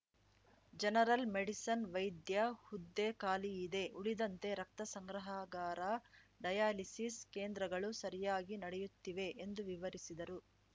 general medicine ವೈದ್ಯ ಹುದ್ದೆ ಖಾಲಿ ಇದೆ ಉಳಿದಂತೆ ರಕ್ತ ಸಂಗ್ರಹಾಗಾರ ಡಯಲಿಸಿಸ್‌ ಕೇಂದ್ರಗಳು ಸರಿಯಾಗಿ ನಡೆಯುತ್ತಿವೆ ಎಂದು ವಿವರಿಸಿದರು